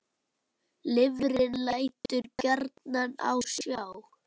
Lifrin lætur gjarnan á sjá.